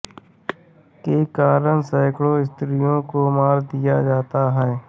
के कारण सैकड़ों स्त्रियों को मार दिया जाता था